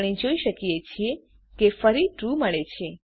આપણે જોઈએ છીએ કે ફરી ટ્રૂ મળે છે